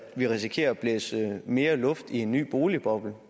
vi risikerer at blæse mere luft i en ny boligboble